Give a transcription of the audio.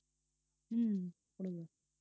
உம் குடுங்க